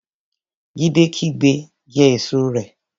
Jídé kígbe Jẹ èso rẹ!